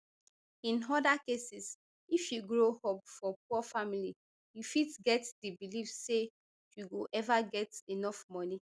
in oda cases if you grow up for poor family you fit get di belief say you go ever get enough money